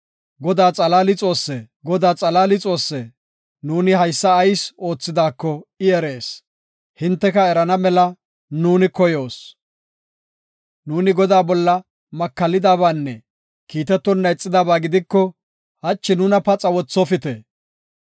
“Godaa xalaali Xoosse! Godaa xalaali Xoosse! Nuuni haysa ayis oothidaako I erees; hinteka erana mela nu koyoos. Nuuni Godaa bolla makallidabaanne kiitetonna ixidaba gidiko, hachi nuna paxa wothofite.